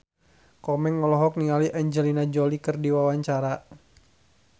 Komeng olohok ningali Angelina Jolie keur diwawancara